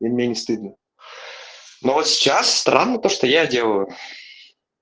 и мне не стыдно но сейчас странно то что я делаю